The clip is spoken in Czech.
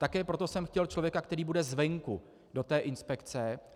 Také proto jsem chtěl člověka, který bude zvenku, do té inspekce.